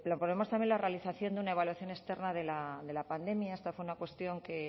proponemos también la realización de una evaluación externa de la pandemia esta fue una cuestión que